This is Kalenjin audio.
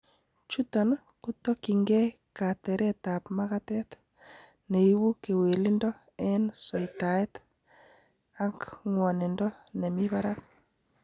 Chuton kotokyingei kateretab makatet, neibu kewelindo en soitaet akng'wondindo nemi barak.